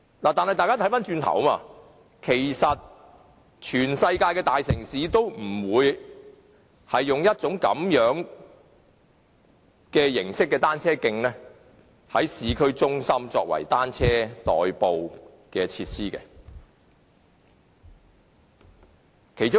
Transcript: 但是，大家可以看看，其實全世界的大城市都不會在市區採用這類單車徑作為以單車代步的設施。